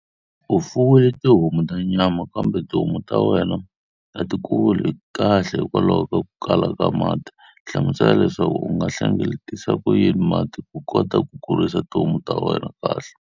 U fuwile tihomu ta nyama kambe tihomu ta wena a ti kuli kahle hikokwalaho ka ku kala ka mati. Hlamusela leswaku u nga ma hlengeletisa ku yini mati ku kota ku kurisa tihomu ta wena kahle.